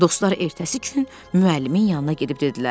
Dostlar ertəsi gün müəllimin yanına gedib dedilər: